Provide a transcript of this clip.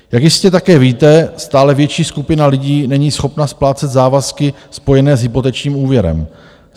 Jak jistě také víte, stále větší skupina lidí není schopna splácet závazky spojené s hypotečním úvěrem;